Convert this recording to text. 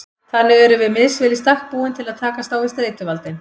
Þannig erum við misvel í stakk búin til að takast á við streituvaldinn.